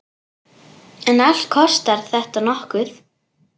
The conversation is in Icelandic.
En allt kostar þetta nokkuð.